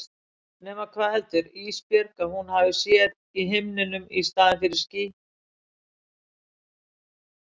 Nema hvað heldur Ísbjörg að hún hafi séð í himninum í staðinn fyrir ský.